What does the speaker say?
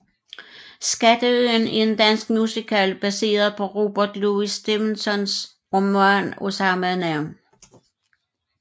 Skatteøen er en dansk musical baseret på Robert Louis Stevensons roman af samme navn